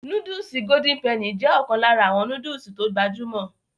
Nóódùsì Golden penny jé ọ̀kan lára àwọn nóódùsì tó gbajúmọ̀